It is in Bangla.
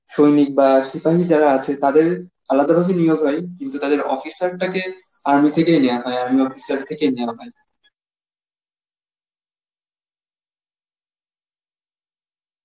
সৈনিক বা সেখানেই যারা আছে তাদের আলাদাভাবে নিয়োগ হয় কিন্তু তাদের officer টাকে army থেকেই নেওয়া হয় army officer থেকে নেওয়া হয়.